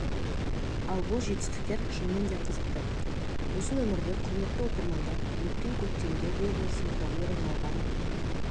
ал бұл жетістіктер шынымен де қызықты осы нөмірде құрметті оқырмандар өткен көктемде облысымызда орын алған